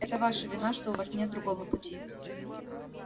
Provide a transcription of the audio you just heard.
это ваша вина что у вас нет другого пути